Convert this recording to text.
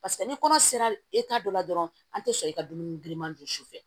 Paseke ni kɔnɔ sera dɔ la dɔrɔn an te sɔn e ka dumuni giriman dun sufɛ